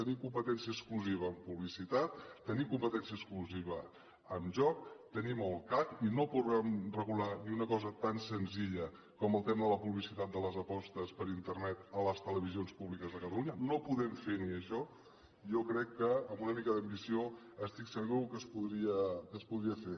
tenim competència exclusiva en publicitat tenim competència exclusiva en joc tenim el cac i no podem regular ni una cosa tan senzilla com el tema de la publicitat de les apostes per internet a les televisions públiques de catalunya no podem fer ni això jo crec que amb una mica d’ambició estic segur que es podria fer